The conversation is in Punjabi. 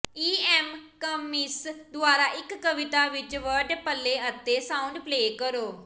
ਈ ਐਮ ਕਮਿੰਸ ਦੁਆਰਾ ਇੱਕ ਕਵਿਤਾ ਵਿੱਚ ਵਰਡ ਪਲੇ ਅਤੇ ਸਾਊਂਡ ਪਲੇ ਕਰੋ